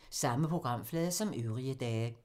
Samme programflade som øvrige dage